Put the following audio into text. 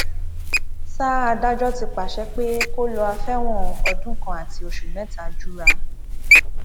sa adájọ ti pàṣẹ pé kó lọá fẹwọn ọdún kan àti oṣù mẹta jura